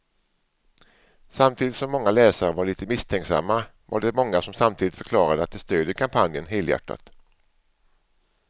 Samtidigt som många läsare var lite misstänksamma var det många som samtidigt förklarade att de stödjer kampanjen helhjärtat.